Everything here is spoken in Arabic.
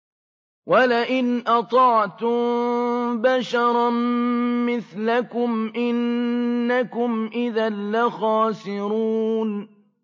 وَلَئِنْ أَطَعْتُم بَشَرًا مِّثْلَكُمْ إِنَّكُمْ إِذًا لَّخَاسِرُونَ